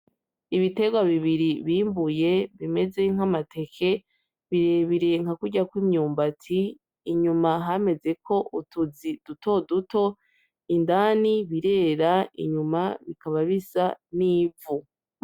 Ibiterwa bibiri bimbuye bimeze nk'amateke birebire nka kurya kw’imyumbati inyuma hamezeko utuzi dutoduto indani birera inyuma bikaba bisa n'ivu.